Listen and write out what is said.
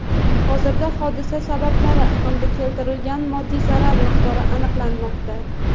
Hozirda hodisa sababi hamda keltirilgan moddiy zarar miqdori aniqlanmoqda.